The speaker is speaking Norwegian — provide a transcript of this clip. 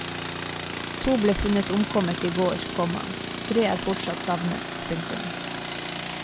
To ble funnet omkommet i går, komma tre er fortsatt savnet. punktum